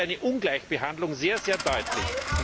Hier wird eine Ungleichbehandlung sehr deutlich.